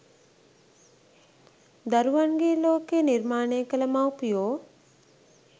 දරුවන්ගේ ලෝකය නිර්මාණය කළ මව්පියෝ